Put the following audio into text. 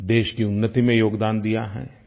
देश की उन्नति में योगदान दिया है